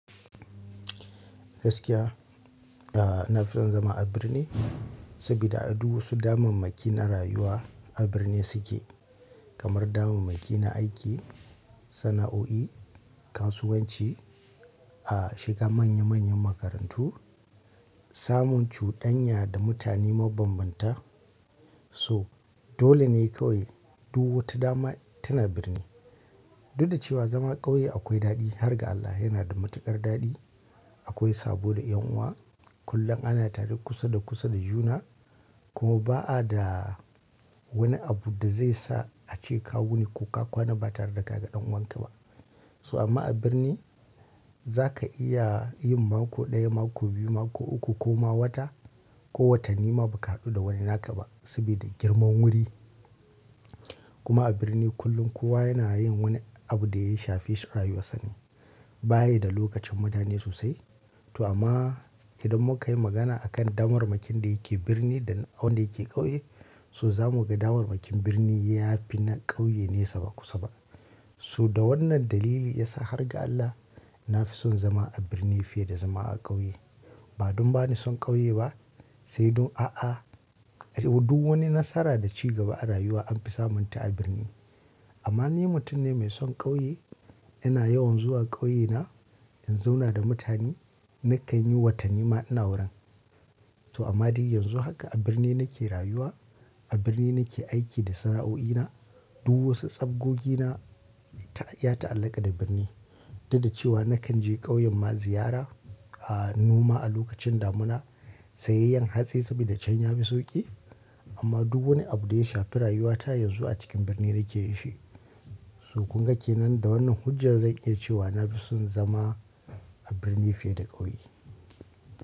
Gaskiya, a, na fi son zama a birni saboda a du wasu damammaki na rayuwa a birni suke. Kamar damammaki na aiki, sana'oi, kasuwanci, a, shiga manya manyan makarantu, samun cuɗanya da mutane mabanbanta. So dole ne kawai duk wata dama tana birni. Duk da cewa zama ƙauye akwai daɗi har ga Allah yana da matuƙar daɗi. Akwai sabo da ƴan'uwa. Kullum ana tare kusa da kusa da juna. Kuma ba a da wani abu da zai sa ace ka wuni ko ka kwana ba tare da ka ga ɗan uwanka ba. So amma a birni za ka iya yin mako ɗaya, mako biyu, mako uku ko ma wata, ko watanni ma ba ka haɗu da wani naka ba saboda girman wuri. Kuma a birni kullum kowa yana yin wani abu da ya shafi rayuwar sane. Bayi da lokacin madanne sosai. To amma idan muka yi magana a kan damar makin da yake birni da wanda yake ƙauye, so za mu ga damar makin birni ya fi na ƙauye ne sabo kusa ba. Su da wannan dalili ya sa har ga Allah na fi son zama a birni fiye da zama a ƙauye. Ba don ba ni son ƙauye ba, sai dun a'a. Duk wani nasara da ci gaba a rayuwa an fi samunta a birni. Amma ni mutum ne mai son ƙauye. Ina yawan zuwa ƙauye na in zauna da mutane. Nakan yi watanni ma ina wurin. To amma de yanzu haka a birni nake rayuwa. A birni nake aiki da sana'o'ina. Duk wasu tsabbogina ta, ya ta'allaka da birni. Duk da cewa nakan je ƙauyen mu ziyara, a, noma a lokacin damina, sayayyan hatsi saboda can yafi sauƙi. Amma duk wani abu da ya shafi rayuwata yanzu a cikin birni nake yi shi. So kuma ke nan da wannan hujjar zan iya cewa na fi son zama a birni fiye da ƙauye.